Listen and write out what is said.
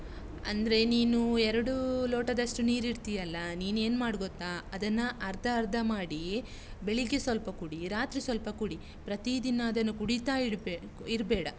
ಅಂದ್ರೆ ನೀನು ಎರಡು ಲೋಟದಷ್ಟು ನೀರಿಡ್ತೀಯಲ್ಲ, ನೀನು ಏನ್ ಮಾಡು ಗೊತ್ತಾ ಅದನ್ನ ಅರ್ಧ ಅರ್ಧ ಮಾಡಿ ಬೆಳಿಗ್ಗೆ ಸ್ವಲ್ಪ ಕುಡಿ, ರಾತ್ರಿ ಸ್ವಲ್ಪ ಕುಡಿ ಪ್ರತೀದಿನ ಅದನ್ನು ಕುಡಿತಾ ಇರ್ಬೇ~ ಇರ್ಬೇಡ.